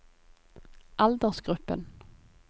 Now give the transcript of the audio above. aldersgruppen